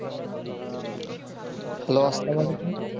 hello সালামালিকুম